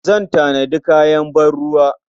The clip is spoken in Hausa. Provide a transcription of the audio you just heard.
Zan tanadi kayan ban-ruwa.